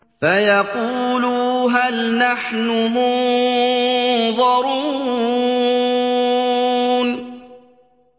فَيَقُولُوا هَلْ نَحْنُ مُنظَرُونَ